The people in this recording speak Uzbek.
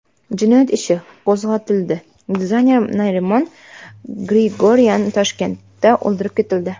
Jinoyat ishi qo‘zg‘atildi Dizayner Narimon Grigoryan Toshkentda o‘ldirib ketildi.